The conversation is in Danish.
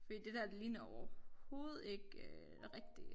Fordi det dér det ligner overhoved ikke øh rigtige